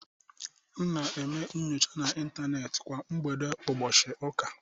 M na-eme nnyocha na Intanet kwa mgbede ụbọchị ụka.